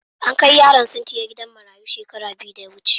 An kai Yaron sintiya gidan marayun shekara biyu da ya wuce.